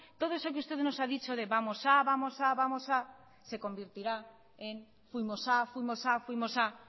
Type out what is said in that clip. todo eso que usted nos ha dicho de vamos a vamos a vamos a se convertirá en fuimos a fuimos a fuimos a